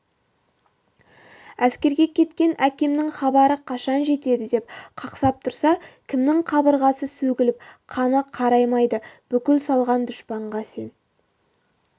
әскерге кеткен әкемнің хабары қашан жетеді деп қақсап тұрса кімнің қабырғасы сөгіліп қаны қараймайды бүлік салған дұшпанға сені